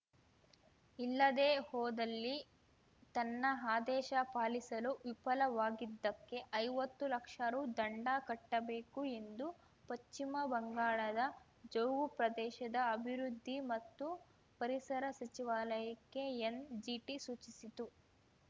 ಇಲ್ಲದೇ ಹೋದಲ್ಲಿ ತನ್ನ ಆದೇಶ ಪಾಲಿಸಲು ವಿಫಲವಾಗಿದ್ದಕ್ಕೆ ಐವತ್ತು ಲಕ್ಷ ರು ದಂಡ ಕಟ್ಟಬೇಕು ಎಂದು ಪಶ್ಚಿಮ ಬಂಗಾಳದ ಜೌಗು ಪ್ರದೇಶದ ಅಭಿವೃದ್ಧಿ ಮತ್ತು ಪರಿಸರ ಸಚಿವಾಲಯಕ್ಕೆ ಎನ್‌ಜಿಟಿ ಸೂಚಿಸಿತ್ತು